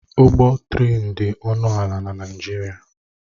Ụgwọ trén dị ọnụ ala na Naịjirịa.